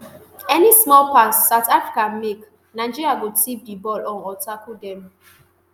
any small pass south africa make nigeria go tiff di ball um or tackle dem